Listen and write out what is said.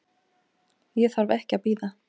Ég þarf ekki að bíða.